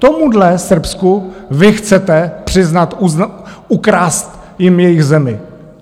Tomuhle Srbsku vy chcete přiznat... ukrást jim jejich zemi.